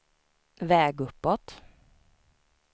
väg uppåt